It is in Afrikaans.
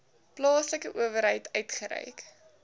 plaaslike owerheid uitgereik